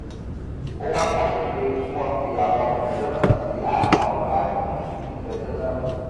ó wàá pàṣẹ pé kí wọn fi àwọn olùjẹjọ náà sí àhámọ ọgbà ẹwọn títí dọjọ náà